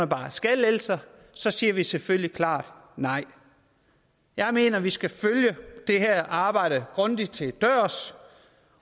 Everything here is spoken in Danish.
bare skattelettelser så siger vi selvfølgelig klart nej jeg mener at vi skal følge det her arbejde grundigt til dørs